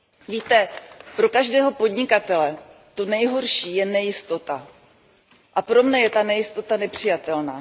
Víte, pro každého podnikatele je nejhorší nejistota a pro mne je ta nejistota nepřijatelná.